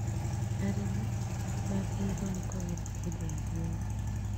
Arĩmi magĩriirwo nĩ kugetha hĩndĩ ya riũa